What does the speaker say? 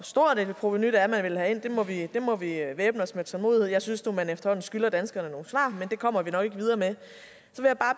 stort et provenu det er man vil have der må vi væbne os med tålmodighed jeg synes nu at man efterhånden skylder danskerne nogle svar men det kommer vi nok ikke videre med